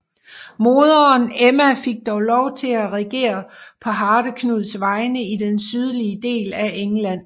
Moderen Emma fik dog lov til at regere på Hardeknuds vegne i den sydlige del af England